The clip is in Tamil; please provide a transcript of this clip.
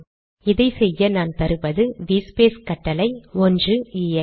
இதை செய்ய நான் தருவது விஎஸ்பேஸ் கட்டளை 1 எக்ஸ்